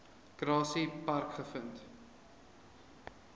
grassy park gevind